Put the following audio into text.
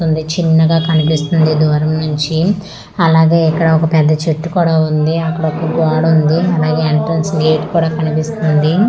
ఉంది చిన్నగా కనిపిస్తుంది దూరం నుంచి అలాగే ఇక్కడ ఒక పెద్ద చేటు కూడా ఉంది అక్కడ ఒక గోడ ఉంది అలాగే ఎంట్రెన్స్ గెట్ కూడా కనిపిస్తుంది .